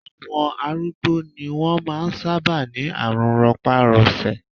Àwọn arúgbó ni wọ́n máa ń sábà ní àrùn rọpárọsẹ̀